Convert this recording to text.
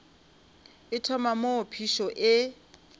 e thoma moo phišo e